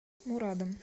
мурадом